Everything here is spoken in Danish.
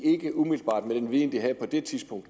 med den viden de havde på det tidspunkt